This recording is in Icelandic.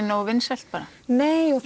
nógu vinsælt bara nei og